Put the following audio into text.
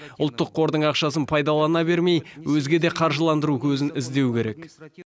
ұлттық қордың ақшасын пайдалана бермей өзге де қаржыландыру көзін іздеу керек